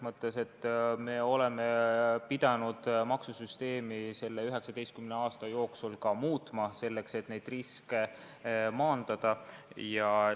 Me oleme pidanud oma maksusüsteemi selle 19 aasta jooksul ka muutma, selleks et neid riske maandada.